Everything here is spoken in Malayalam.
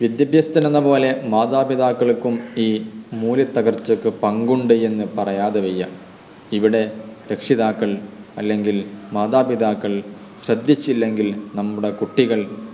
വിദ്യാഭ്യാസത്തിലെന്ന പോലെ മാതാപിതാക്കൾക്കും ഈ മൂല്യത്തകർച്ചക്ക് പങ്ക് ഉണ്ട് എന്ന് പറയാതെ വയ്യ ഇവിടെ രക്ഷിതാക്കൾ അല്ലെങ്കിൽ മാതാപിതാക്കൾ ശ്രദ്ധിച്ചില്ലെങ്കിൽ നമ്മുടെ കുട്ടികൾ